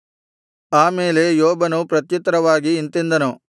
ಆ ಮೇಲೆ ಯೋಬನು ಪ್ರತ್ಯುತ್ತರವಾಗಿ ಇಂತೆಂದನು